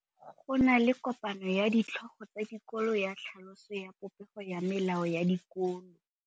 Go na le kopanô ya ditlhogo tsa dikolo ya tlhaloso ya popêgô ya melao ya dikolo.